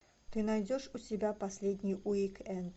ты найдешь у себя последний уик энд